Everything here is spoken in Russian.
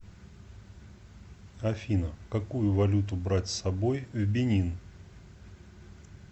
афина какую валюту брать с собой в бенин